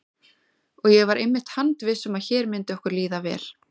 Og ég var einmitt handviss um að hér myndi okkur líða vel.